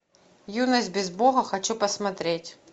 юность без бога хочу посмотреть